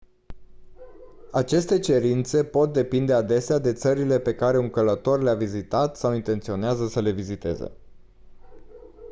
aceste cerințe pot depinde adesea de țările pe care un călător le-a vizitat sau intenționează să le viziteze